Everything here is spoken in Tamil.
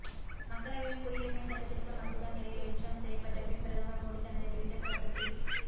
மக்களவையில் குடியுரிமை சட்டதிருத்த மசோதா நிறைவேற்றம் செய்யப்பட்ட பின் பிரதமர் மோடி தனது டிவிட்டர் பக்கத்தில்